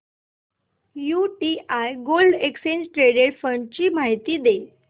UTI gold exchange traded fund ची माहिती दे